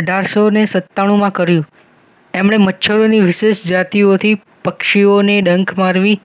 અઢારસૌ ને સત્તાણુમાં કારું એમણે મચ્છરો ની વિશેષ જાતિઓથી પક્ષીઓને ડંખ મારવી